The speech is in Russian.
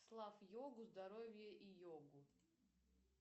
славь йогу здоровье и йогу